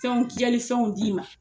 Fɛnw fɛnw d'i ma